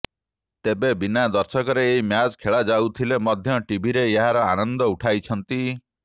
ତେବେ ବିନା ଦର୍ଶକରେ ଏହି ମ୍ୟାଚ୍ ଖେଳାଯାଉଥିଲେ ମଧ୍ୟ ଟିଭିରେ ଏହାର ଆନନ୍ଦ ଉଠାଉଛନ୍ତି